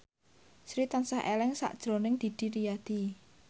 Sri tansah eling sakjroning Didi Riyadi